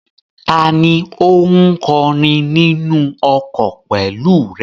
Tani ó ń kọrin nínú ọkọ̀ pẹ̀lú rẹ?